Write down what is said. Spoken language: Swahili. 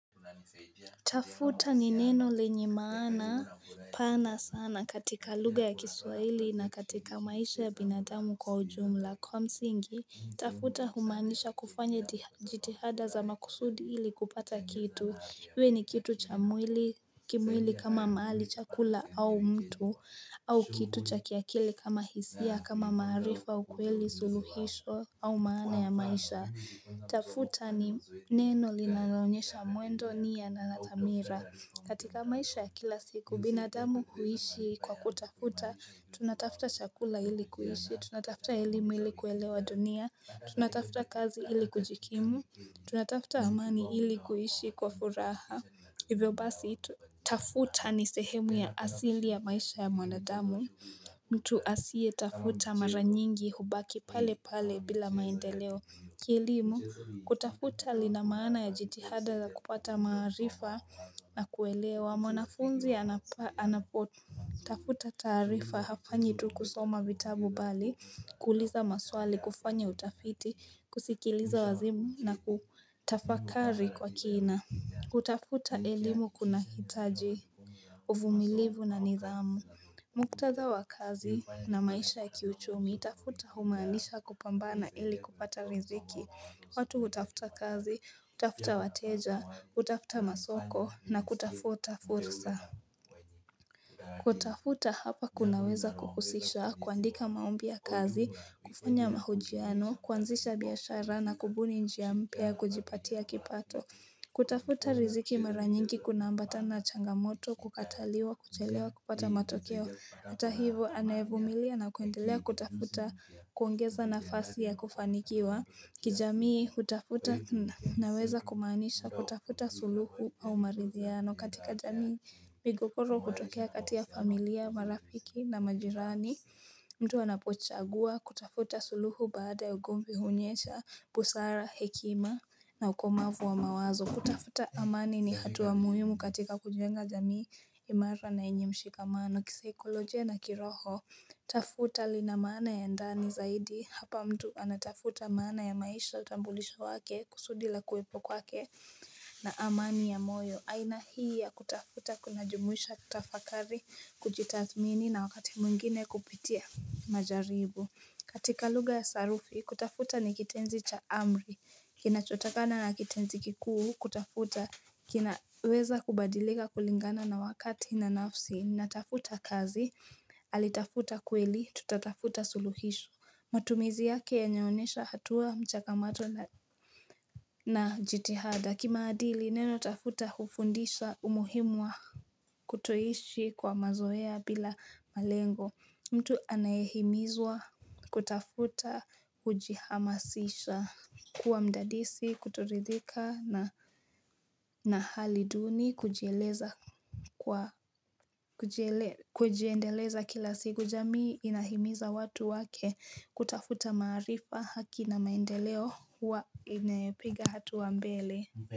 Tafuta ni neno lenye maana pana sana katika lugha ya kiswaili na katika maisha ya binadamu kwa ujumla. Kwa msingi, tafuta humaanisha kufanya jitihada za makusudi ili kupata kitu. Iwe ni kitu cha mwili, kimwili kama mahali chakula au mtu au kitu cha kiakili kama hisia, kama maarifa, ukweli suluhisho au maana ya maisha. Tafuta ni neno linaloonyesha mwendo nia na dhamira. Katika maisha ya kila siku, binadamu huishi kwa kutafuta, tunatafuta chakula ili kuishi, tunatafuta elimu ili kuelewa dunia, tunatafuta kazi ili kujikimu, tunatafta amani ili kuishi kwa furaha, hivyo basi tafuta ni sehemu ya asili ya maisha ya mwanadamu mtu asiyetafuta mara nyingi hubaki pale pale bila maendeleo. Kielimu, kutafuta lina maana ya jitihada za kupata maarifa na kuelewa, mwanafunzi anapotafuta taarifa hafanyi tu kusoma vitabu bali, kuuliza maswali, kufanya utafiti, kusikiliza wazimu na kutafakari kwa kina. Kutafuta elimu kunahitaji uvumilivu na nidhamu muktadha wa kazi na maisha ya kiuchumi, tafuta humaanisha kupambana ili kupata riziki, watu hutafuta kazi, hutafuta wateja, hutafuta masoko na kutafuta fursa kutafuta hapa kunaweza kuhusisha, kuandika maombi ya kazi, kufanya mahojiano, kuanzisha biashara na kubuni njia mpya ya kujipatia kipato kutafuta riziki mara nyingi kunaambatana na changamoto, kukataliwa, kuchelewa, kupata matokeo. Hata hivyo anayevumilia na kuendelea kutafuta kuongeza nafasi ya kufanikiwa, kijamii kutafuta naweza kumaanisha kutafuta suluhu au maridhiano. Katika jamii migogoro hutokea kati ya familia, marafiki na majirani mtu anapochagua kutafuta suluhu baada ugomvi huonyesha busara, hekima na ukomavu wa mawazo. Kutafuta amani ni hatua muhimu katika kujenga jamii imara na yenye mshikamano. Kisaikolojia na kiroho, tafuta lina maana ya ndani zaidi. Hapa mtu anatafuta maana ya maisha utambulisho wake kusudi la kuwepo kwake na amani ya moyo aina hii ya kutafuta kuna jumuisha kutafakari, kujitathmini na wakati mwingine kupitia majaribu. Katika lugha ya sarufi, kutafuta ni kitenzi cha amri Kinachotokana na kitenzi kikuu, kutafuta kinaweza kubadilika kulingana na wakati na nafsi. Natafuta kazi, alitafuta kweli, tutatafuta suluhisho. Matumizi yake yanaonyesha hatua mchakamato na jitihada. Kimaadili neno tafuta hufundisha umuhimu wa kutoishi kwa mazoea bila malengo mtu anayehimizwa kutafuta hujihamasisha kuwa mdadisi, kutoridhika na na hali duni kujieleza, kwa kujiendeleza kila siku jamii inahimiza watu wake kutafuta maarifa, haki na maendeleo huwa inayopiga hatua mbele.